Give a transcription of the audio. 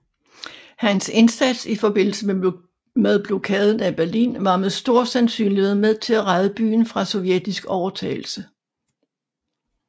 Hans indsats i forbindelse med Blokaden af Berlin var med stor sandsynlighed med til at redde byen fra sovjetisk overtagelse